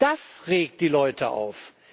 Das regt die Leute auf.